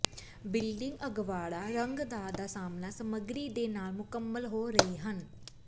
building ਅਗਵਾੜਾ ਰੰਗਦਾਰ ਦਾ ਸਾਹਮਣਾ ਸਮੱਗਰੀ ਦੇ ਨਾਲ ਮੁਕੰਮਲ ਹੋ ਰਹੇ ਹਨ